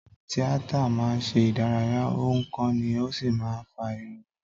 Tíátà máa ń ṣe ìdárayá, ó ń kọ́ni, ó sì máa ń fa ìrònú.